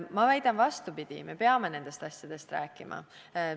Ma väidan vastupidist: me peame nendest asjadest rääkima.